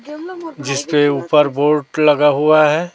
जिस पे ऊपर बोर्ड लगा हुआ है।